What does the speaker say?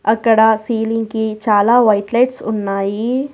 అక్కడ సీలింగ్ కి చాలా వైట్ లైట్స్ ఉన్నాయి.